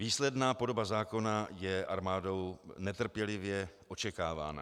Výsledná podoba zákona je armádou netrpělivě očekávána.